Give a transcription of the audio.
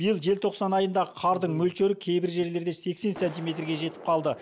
биыл желтоқсан айындағы қардың мөлшері кейбір жерлерде сексен сантиметрге жетіп қалды